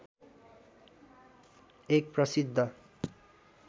एक प्रसिद्ध